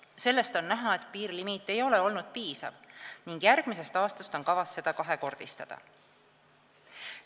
Sellest on näha, et piirlimiit ei ole olnud piisav ning järgmisest aastast on kavas seda kahekordistada.